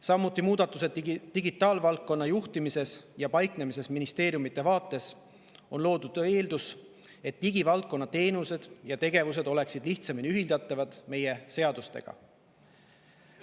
Samuti on muudatused digitaalvaldkonna juhtimises ja paiknemises: ministeeriumide on loodud eeldus, et digivaldkonna teenused ja tegevused oleksid lihtsamini ühildatavad meie seadustega.